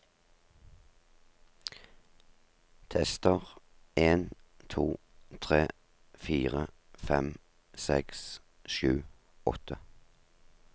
Tester en to tre fire fem seks sju åtte